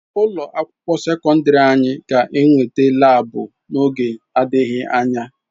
Ụlọ akwụkwọ sekọndrị anyị ga-enweta laabu n'oge adịghị anya.